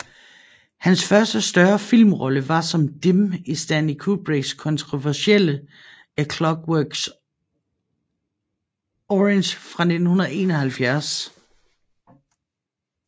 Hans første større filmrolle var som Dim i Stanley Kubricks kontroversielle A Clockwork Orange fra 1971